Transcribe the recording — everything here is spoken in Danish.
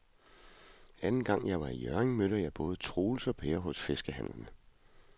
Anden gang jeg var i Hjørring, mødte jeg både Troels og Per hos fiskehandlerne.